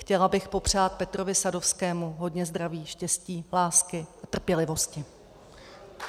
Chtěla bych popřát Petrovi Sadovskému hodně zdraví, štěstí, lásky a trpělivosti.